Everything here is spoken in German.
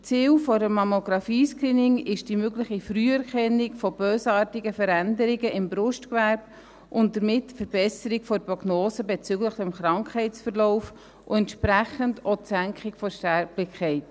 Ziel eines Mammographie-Screenings ist die mögliche Früherkennung von bösartigen Veränderungen im Brustgewebe und damit die Verbesserung der Prognose bezüglich des Krankheitsverlaufs und entsprechend auch die Senkung der Sterblichkeit.